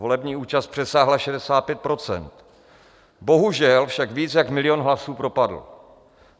Volební účast přesáhla 65 %, bohužel však víc jak milion hlasů propadl.